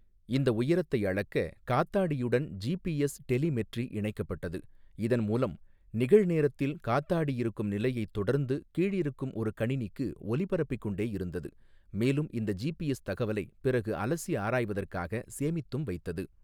இந்த உயரத்தை அளக்க காத்தாடியுடன் ஜிபிஎஸ் டெலிமெட்ரி இணைக்கப்பட்டது, இதன் மூலம் நிகழ்நேரத்தில் காத்தாடி இருக்கும் நிலையை தொடர்ந்து கீழிருக்கும் ஒரு கணினிக்கு ஒலிபரப்பிக்கொண்டே இருந்தது மேலும் இந்த ஜிபிஎஸ் தகவலை பிறகு அலசி ஆராய்வதற்காக சேமித்தும் வைத்தது.